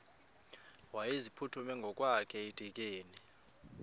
wayeziphuthume ngokwakhe edikeni